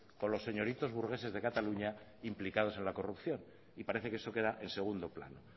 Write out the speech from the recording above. con los señoritos burgueses de cataluña implicados en la corrupción y parece que eso queda en segundo plano